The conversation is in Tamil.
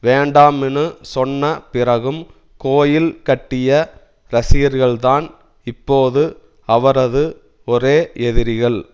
வேண்டாம்னு சொன்ன பிறகும் கோயில் கட்டிய ரசிகர்கள்தான் இப்போது அவரது ஒரே எதிரிகள்